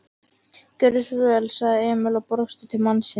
Gjörðu svo vel, sagði Emil og brosti til mannsins.